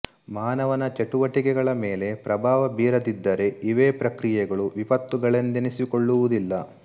ಮಾನವನ ಚಟುವಟಿಕೆಗಳ ಮೇಲೆ ಪ್ರಭಾವ ಬೀರದಿದ್ದರೆ ಇವೇ ಪ್ರಕ್ರಿಯೆಗಳು ವಿಪತ್ತುಗಳೆಂದೆನಿಸಿಕೊಳ್ಳುವುದಿಲ್ಲ